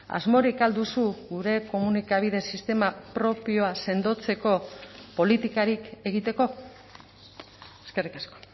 asmorik al duzu gure komunikabide sistema propioa sendotzeko politikarik egiteko eskerrik asko